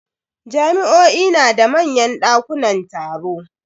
Jami'o'i na da manyan dakunan taro.